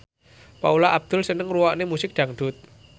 Paula Abdul seneng ngrungokne musik dangdut